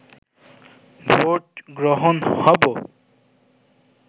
vote গ্রহণ হব